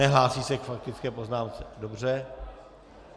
Nehlásí se k faktické poznámce, dobře.